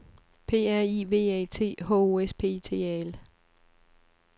P R I V A T H O S P I T A L